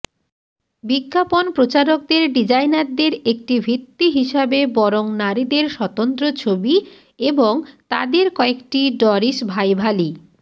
বিজ্ঞাপন প্রচারকদের ডিজাইনারদের একটি ভিত্তি হিসাবে বরং নারীদের স্বতন্ত্র ছবি এবং তাদের কয়েকটি ডরিসভাইভালি